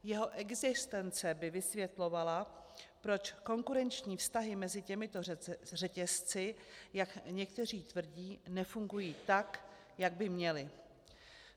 Jeho existence by vysvětlovala, proč konkurenční vztahy mezi těmito řetězci, jak někteří tvrdí, nefungují tak, jak by měly.